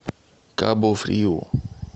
кабу фриу